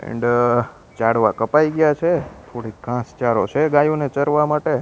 And ઝાડવા કપાઈ ગ્યા છે થોડીક ઘાંસ ચારો છે ગાયોને ચરવા માટે.